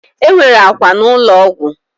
Enwere akwa na ụlọ ọgwụ